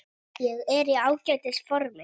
Ég er í ágætis formi.